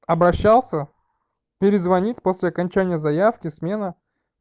обращался перезвонит после окончания заявки смены